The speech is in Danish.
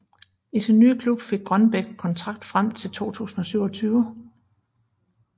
I sin nye klub fik Grønbæk kontrakt frem til 2027